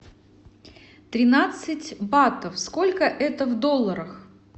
тринадцать батов сколько это в долларах